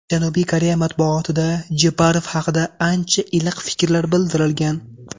Janubiy Koreya matbuotida Jeparov haqida ancha iliq fikrlar bildirilgan.